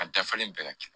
A dafalen bɛɛ ka kɛ